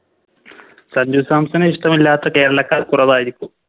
സഞ്ചു സാംസണെ ഇഷ്ടമല്ലാത്ത കേരളക്കാർ കുറവായിരിക്കും